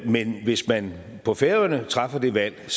men hvis man på færøerne træffer det valg